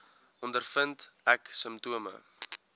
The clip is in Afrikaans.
ondervind ek simptome